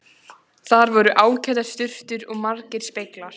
Þar voru ágætar sturtur og margir speglar!